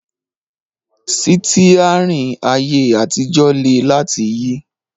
Sítíárìn ayé àtijọ́ le láti yí